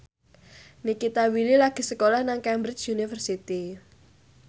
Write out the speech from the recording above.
Nikita Willy lagi sekolah nang Cambridge University